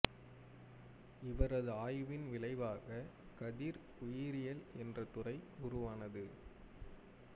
இவரது ஆய்வின் விளைவாக கதிர் உயிரியல் என்ற துறை உருவானது